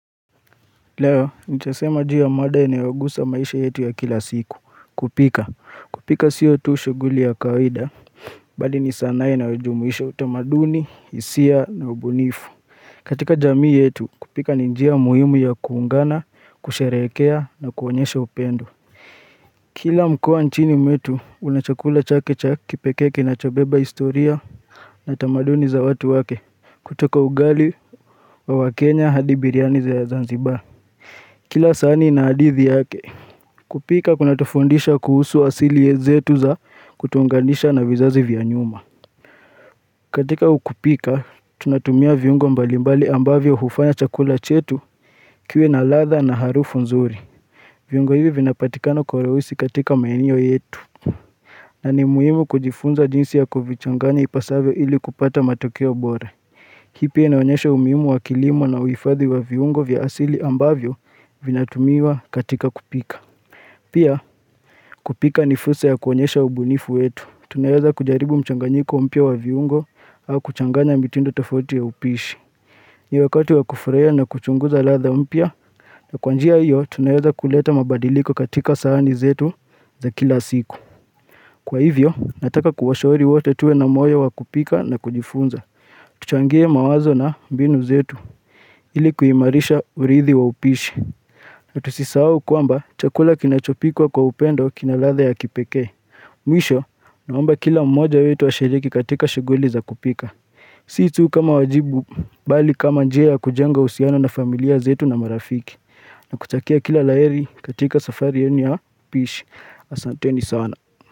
Leo, nitasema juu ya mada inayogusa maisha yetu ya kila siku, kupika. Kupika sio tu shughuli ya kawaida, bali ni sanaa i nayojumuisha utamaduni, hisia na ubunifu. Katika jamii yetu, kupika ninjia muhimu ya kuungana, kusherekea na kuonyesha upendo. Kila mkoa nchini mwetu, unachakula chake cha kipekee kina chobeba historia na utamaduni za watu wake, kutoka ugali wa wakenya hadibiliani za ya Zanzibar. Kila sahani ina hadithi yake kupika kuna tufundisha kuhusu asili yezetu za kutuungandisha na vizazi vya nyuma katika ukupika, tunatumia viungo mbalimbali ambavyo hufanya chakula chetu kiwe na latha na harufu nzuri viungo hivi vinapatikana kwa urawisi katika maeneo yetu na ni muhimu kujifunza jinsi ya kuvichanganya ipasavyo ili kupata matokeo bora Hii pia inaonyesha umuhimu wa kilimo na uifadhi wa viungo vya asili ambavyo vina tumiwa katika kupika. Pia kupika nifursa ya kuonyesha ubunifu wetu. Tunaeza kujaribu mchanganyiko mpia wa viungo au kuchanganya mitindo tofauti ya upishi. Ni wakati wa kufurahia na kuchunguza latha mpia na kwa njia hiyo tunaeza kuleta mabadiliko katika sahani zetu za kila siku. Kwa hivyo nataka kuwashauri wote tuwe na moyo wa kupika na kujifunza. Tuchangie mawazo na mbinu zetu ilikuimarisha urithi wa upishi. Na tusisahau kwamba chakula kinachopikwa kwa upendo kinaladha ya kipekee. Mwisho naomba kila mmoja wetu ashiriki katika shughuli za kupika. Si tu kama wajibu, bali kama njia kujenga uhusiano na familia zetu na marafiki. Na kutakia kila la heri katika safari ya ni ya upishi. Asante ni sana.